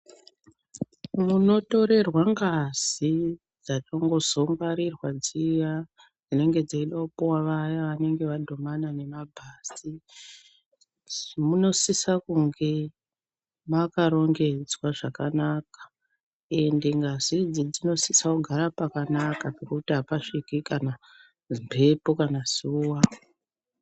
Munotorerwa ngazi dzatozombongwarirwa dziya dzinenge dzeida kupuwa vaya vanenge vadhumana nemabhazi munosisa kunge makarongedzwa zvakanaka ende ngazi idzi dzinosisa kugara pakanaka pekuti apasviki mhepo kana zuwa.